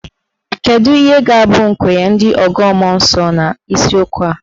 Kedụ ihe ga-abụ nkwenye ndị ọgọ mmụọ n'isiokwu a?